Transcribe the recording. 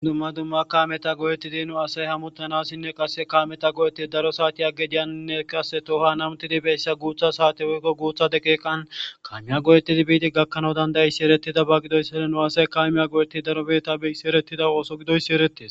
Dumma dumma nu Dere asay kametan go'ettidi hamuttanawnne issi issi miishshata go'ettanaw madees